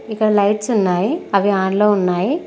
ఇక్కడ లైట్స్ ఉన్నాయి అవి ఆన్ లో ఉన్నాయి.